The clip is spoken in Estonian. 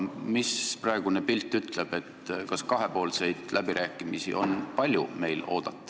Mis praegune pilt ütleb, kas meil on palju kahepoolseid läbirääkimisi oodata?